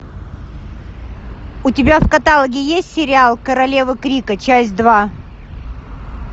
у тебя в каталоге есть сериал королевы крика часть два